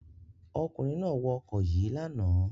Ọkùnrin náà wọ ọkọ̀ yìí lánàá.